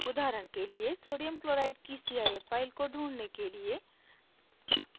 उदाहरण के लिए sodium chloride की cif file को ढूँढने के लिए